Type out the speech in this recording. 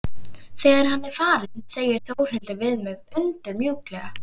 Þegar hann er farinn segir Þórhildur við mig undur mjúklega.